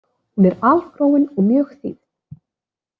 Hún er algróin og mjög þýfð.